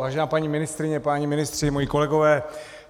Vážená paní ministryně, páni ministři, moji kolegové,